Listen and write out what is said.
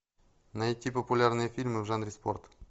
найти популярные фильмы в жанре спорт